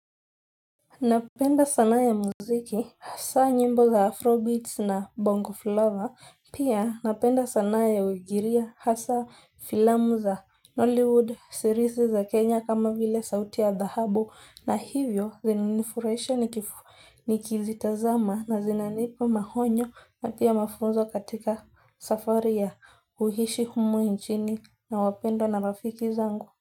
Napenda sanaa ya muziki, hasa nyimbo za afrobeats na bongo flava, pia napenda sana ya uigiria hasa filamu za Hollywood series za Kenya kama vile sauti ya dhahabu na hivyo zinanifurahisha niki nikizitazama na zinanipa maonyo na pia mafunzo katika safari ya kuishi humu nchini na wapendwa na rafiki zangu.